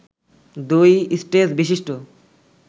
দুই স্টেজ বিশিষ্ট